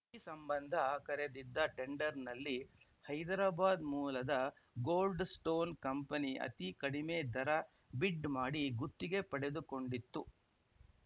ಈ ಸಂಬಂಧ ಕರೆದಿದ್ದ ಟೆಂಡರ್‌ನಲ್ಲಿ ಹೈದರಾಬಾದ್‌ ಮೂಲದ ಗೋಲ್ಡ್‌ ಸ್ಟೋನ್‌ ಕಂಪನಿ ಅತಿ ಕಡಿಮೆ ದರ ಬಿಡ್‌ ಮಾಡಿ ಗುತ್ತಿಗೆ ಪಡೆದುಕೊಂಡಿತ್ತು